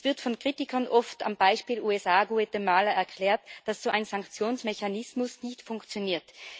Es wird von Kritikern oft am Beispiel USA Guatemala erklärt, dass so ein Sanktionsmechanismus nicht funktioniert.